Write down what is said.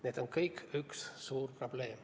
Need on kõik üks suur probleem.